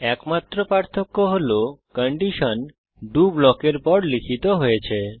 একমাত্র পার্থক্য হল কন্ডিশন ডো ব্লকের পর লিখিত হয়েছে